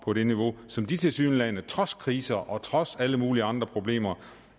på det niveau som de lande tilsyneladende trods kriser og trods alle mulige andre problemer